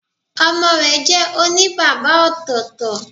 Ọmọ rẹ jẹ́ òní bàbá ọ̀tọ̀ọ̀tọ̀